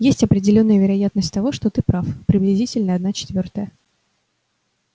есть определённая вероятность того что ты прав приблизительно одна четвёртая